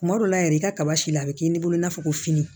Kuma dɔ la yɛrɛ i ka kaba si la a bɛ k'i ni bolo in n'a fɔ ko fini